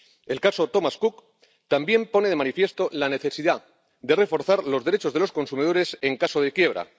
El caso Thomas Cook también pone de manifiesto la necesidad de reforzar los derechos de los consumidores en caso de quiebra.